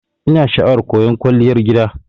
Ina sha'awar koyan Kwalliyar gida.